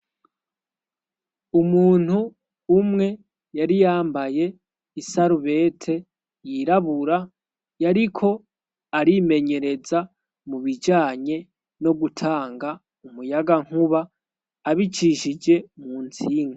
umuntu umwe yari yambaye isarubete yirabura yariko arimenyereza mu bijanye no gutanga umuyaga nkuba abicishije mu ntsinga